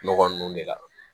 Nɔgɔ nunnu de la